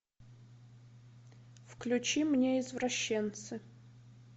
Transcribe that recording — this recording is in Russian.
включи мне извращенцы